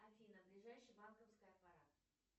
афина ближайший банковский аппарат